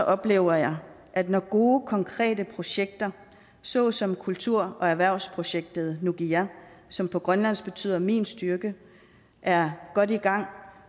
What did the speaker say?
oplever jeg at når gode konkrete projekter såsom kultur og erhvervsprojektet nukiga som på grønlandsk betyder min styrke er godt i gang